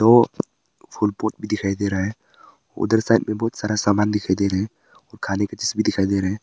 ओ फूल पत्ती दिखाई दे रहा है उधर साइड में बहुत सारा सामान दिखाई दे रहे हैं खाली भी दिखाई दे रहे हैं।